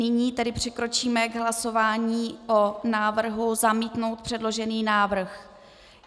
Nyní tedy přikročíme k hlasování o návrhu zamítnout předložený návrh.